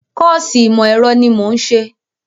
Kọ́ọ̀sì ìmọ̀ ẹ̀rọ ni mò ń ṣe